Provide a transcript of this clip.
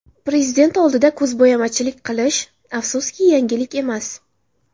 Prezident oldida ko‘zbo‘yamachilik qilish, afsuski, yangilik emas.